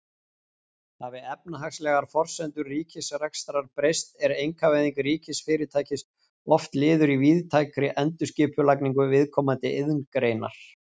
Hafi efnahagslegar forsendur ríkisrekstrar breyst er einkavæðing ríkisfyrirtækis oft liður í víðtækri endurskipulagningu viðkomandi iðngreinar.